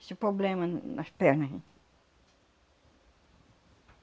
Esse poblema nas perna aí